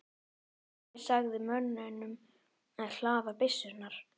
Ari sagði mönnunum að hlaða byssurnar.